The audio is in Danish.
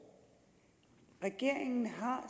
regeringen har